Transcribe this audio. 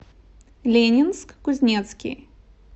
ленинск кузнецкий